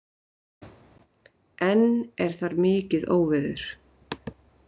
Enn er þar mikið óveður